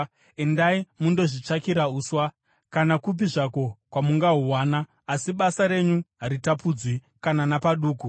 Endai mundozvitsvakira uswa kana kupi zvako kwamungahuwana, asi basa renyu haritapudzwi kana napaduku.’ ”